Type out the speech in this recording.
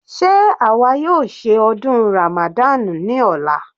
Sé àwa yóò ṣe ọdún Ramadan ní ọ̀la?